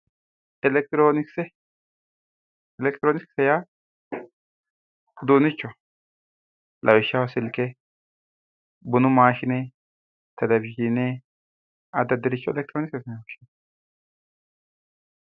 Elekitironikise elekitironikisete ya udunichohi lawishaho sulke bunu mashine televizhine adi adi udunicho elekitironikisete yine woshinanni